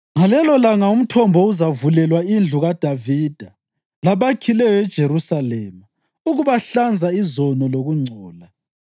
“Ngalelolanga umthombo uzavulelwa indlu kaDavida labakhileyo eJerusalema, ukubahlanza izono lokungcola.